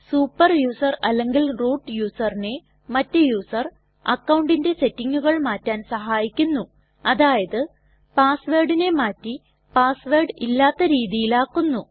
super user അല്ലെങ്കിൽ root യുസറിനെ മറ്റ് യുസർ അക്കൌണ്ടിന്റെ സെറ്റിങ്ങുകൾ മാറ്റാൻ സഹായിക്കുന്നുഅതായത് പാസ് വേർഡിനെ മാറ്റി പാസ് വേർഡ് ഇല്ലാത്ത രീതിയിൽ ആക്കുന്നു